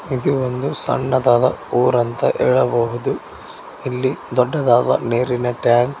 ಇದು ಒಂದು ಸಣ್ಣದಾದ ಊರಂತ ಹೇಳಬಹುದು ಇಲ್ಲಿ ದೊಡ್ಡದಾದ ನೀರಿನ ಟ್ಯಾಂಕ್ .